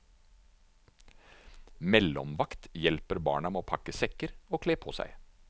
Mellomvakt hjelper barna med å pakke sekker og kle på seg.